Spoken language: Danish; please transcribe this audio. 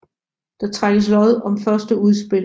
Der trækkes lod om første udspil